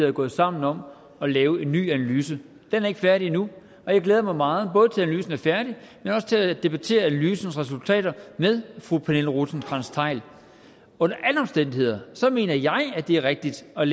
er gået sammen om at lave en ny analyse den er ikke færdig endnu og jeg glæder mig meget både til analysen er færdig men også til at debattere analysens resultater med fru pernille rosenkrantz theil under alle omstændigheder mener jeg det er rigtigt at